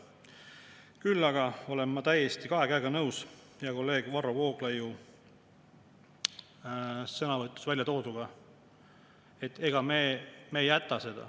Küll aga olen ma kahe käega nõus hea kolleeg Varro Vooglaiu sõnavõtus väljatooduga, et ega me seda ei jäta.